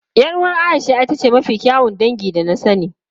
Yar uwar Aisha ita ce mafi kyawun dinki da na sani.